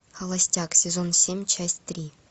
холостяк сезон семь часть три